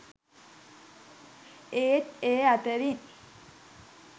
ඒත් ඒ අතරින්